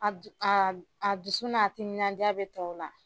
A du a a dusu n'a timinandiya bɛ tɔw la.